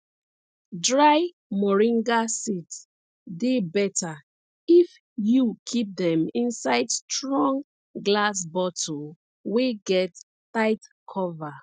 dry moringa seeds dey better if you keep dem inside strong glass bottle wey get tight cover